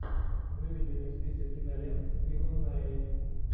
выведи мне список кинолент с биллом найи